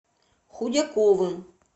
худяковым